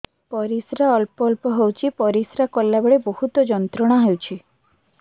ପରିଶ୍ରା ଅଳ୍ପ ଅଳ୍ପ ହେଉଛି ପରିଶ୍ରା କଲା ବେଳେ ବହୁତ ଯନ୍ତ୍ରଣା ହେଉଛି